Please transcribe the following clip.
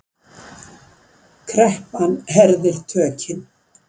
Kreppan herðir tökin